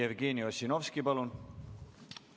Jevgeni Ossinovski, palun!